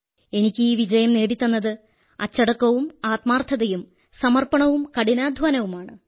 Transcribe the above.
എനിക്ക് ഈ വിജയം നേടിത്തന്നത് അച്ചടക്കവും ആത്മാർഥതയും സമർപ്പണവും കഠിനാധ്വാനവുമാണ്